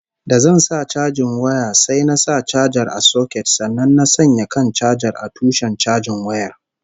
Da zan sa chajin waya sai na sa chajar a soket sannan na sanya kan chajar a tushen chajin wayar